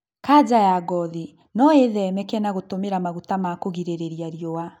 Kaja ya ngothi noĩthemeke na gũtũmĩra maguta ma kũgirĩrĩrĩa riũa